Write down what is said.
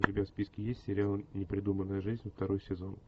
у тебя в списке есть сериал непридуманная жизнь второй сезон